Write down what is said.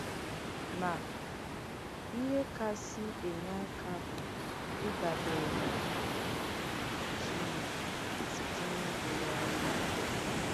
Mà, ìhé kásì ènyè àkà bù ìdàbèrè nà Chínékè sìtè n’ịkpégàrà yà èkpèrè.